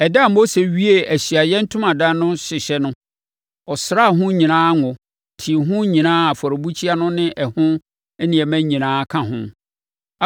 Ɛda a Mose wiee Ahyiaeɛ Ntomadan no hyehyɛ no, ɔsraa ho nyinaa ngo, tee ho nyinaa a afɔrebukyia no ne ɛho nneɛma nyinaa ka ho.